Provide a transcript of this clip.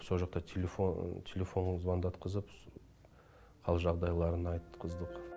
сол жақта телефонға звондатқызып хал жағдайларын айтқыздық